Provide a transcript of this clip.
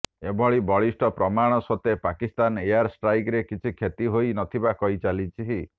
ଏଭଳି ବଳିଷ୍ଠ ପ୍ରମାଣ ସତ୍ତ୍ୱେ ପାକିସ୍ତାନ ଏୟାର ଷ୍ଟ୍ରାଇକ୍ରେ କିଛି କ୍ଷତି ହୋଇ ନଥିବା କହିଚାଲିଛି